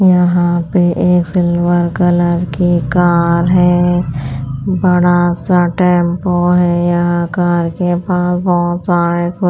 यहाँ पे एक सिल्वर कलर की कार है बड़ा सा टेंपो है यहाँ कार के पास बहुत सारे --